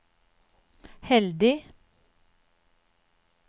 heldig